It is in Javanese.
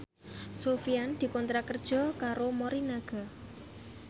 Sofyan dikontrak kerja karo Morinaga